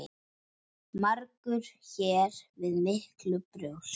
Margur hér við miklu bjóst.